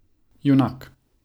Junak.